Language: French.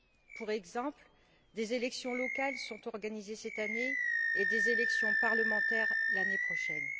Par exemple, des élections locales sont organisées cette année et des élections parlementaires l'année prochaine.